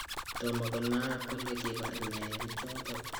Tomakonaak kole kipar nee pichotok